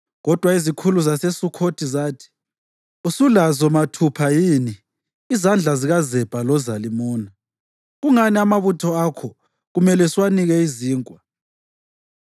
Kodwa izikhulu zaseSukhothi zathi, “Usulazo mathupha yini izandla zikaZebha loZalimuna? Kungani amabutho akho kumele siwanike izinkwa?”